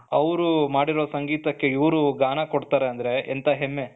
ಅವರು ಮಾಡಿರೋ ಸಂಗೀತಕ್ಕೆ ಇವರು ಗಾನ ಕೊಡ್ತಾರೆ ಅಂದ್ರೆ ಎಂತ ಹೆಮ್ಮೆ